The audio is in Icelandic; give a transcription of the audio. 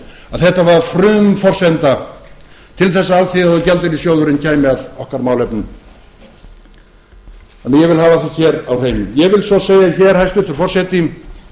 að þetta var frumforsenda til þess að alþjóðagjaldeyrissjóðurinn kæmi að okkar málefnum þannig að ég vil hafa það hér á hreinu ég vil svo segja hér hæstvirtur forseti